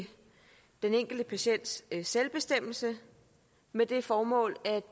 i den enkelte patients selvbestemmelse med det formål at